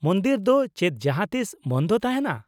-ᱢᱚᱱᱫᱤᱨ ᱫᱚ ᱪᱮᱫ ᱡᱟᱦᱟᱸ ᱛᱤᱥ ᱵᱚᱱᱫᱷ ᱛᱟᱦᱮᱸᱱᱟ ?